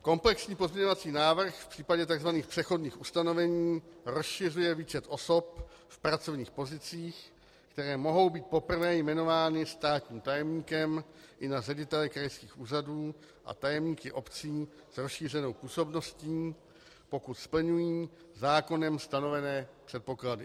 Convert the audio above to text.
Komplexní pozměňovací návrh v případě tzv. přechodných ustanovení rozšiřuje výčet osob v pracovních pozicích, které mohou být poprvé jmenovány státním tajemníkem, i na ředitele krajských úřadů a tajemníky obcí s rozšířenou působností, pokud splňují zákonem stanovené předpoklady.